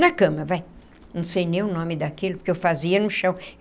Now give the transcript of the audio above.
Na cama vai, não sei nem o nome daquilo, porque eu fazia no chão.